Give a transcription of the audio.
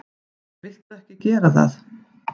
Viltu ekki gera það!